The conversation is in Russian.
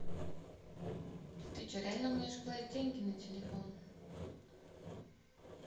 ты че реально умеешь класть деньги на телефон